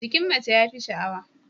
Jikin mace ya fi sha'awa.